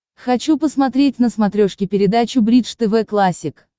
хочу посмотреть на смотрешке передачу бридж тв классик